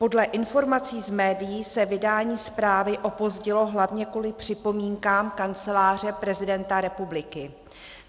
Podle informací z médií se vydání zprávy opozdilo hlavně kvůli připomínkám Kanceláře prezidenta republiky.